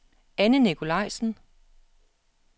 Anne Nicolajsen